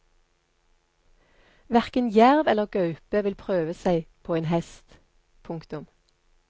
Hverken jerv eller gaupe vil prøve seg på en hest. punktum